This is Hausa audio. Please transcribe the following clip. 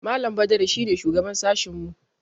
Malam Badaru shi ne shugaban sashinmu.